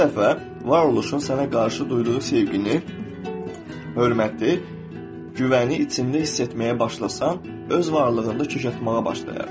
Bircə dəfə varoluşun sənə qarşı duyduğu sevgini, hörməti, güvəni içində hiss etməyə başlasan, öz varlığında kök atmağa başlayarsan.